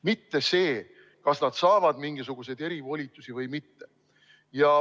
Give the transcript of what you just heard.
Mitte see, kas nad saavad mingisuguseid erivolitusi või mitte.